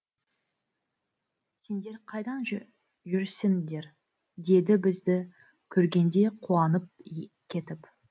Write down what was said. сендер қайдан жүрсіңдер деді бізді көргенде қуанып кетіп